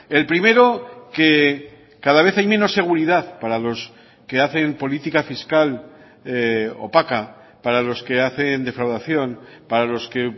el primero que cada vez hay menos seguridad para los que hacen política fiscal opaca para los que hacen defraudación para los que